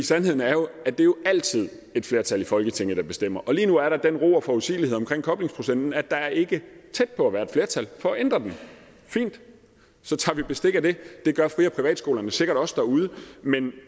sandheden er jo at det altid er et flertal i folketinget der bestemmer og lige nu er der den ro og forudsigelighed omkring koblingsprocenten at der ikke er tæt på at være et flertal for at ændre den fint så tager vi bestik af det det gør fri og privatskolerne sikkert også derude men